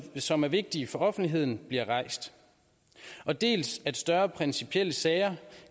som er vigtige for offentligheden bliver rejst og dels at større principielle sager